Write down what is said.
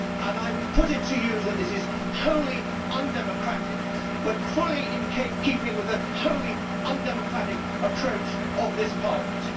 I would put it to you that this is wholly undemocratic but fully in keeping with the wholly undemocratic approach of this Parliament.